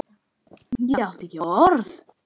Ég átti ekki orð.